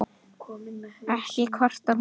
Ekki kvartar hún